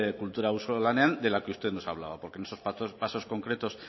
kultura auzolanean de la que usted nos hablaba porque en esos pasos concretos